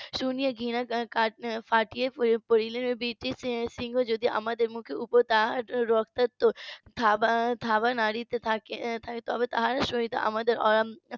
শুনিয়া ঘৃনায় ফাটিয়া প~ পড়িলেন এবং ব্রিটিশ সৈন্য যদি আমাদের মুখের উপর তার রক্তাক্ত থাবা থাবা নাড়িতে থাকে তবে তাহার সহিত আমাদের অয়ন